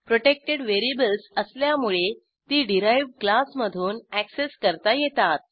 protected variables असल्यामुळे ती derived क्लासमधून अॅक्सेस करता येतात